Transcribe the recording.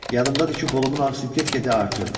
Yadımdadır ki, qolumun ağrısı get-gedə artırdı.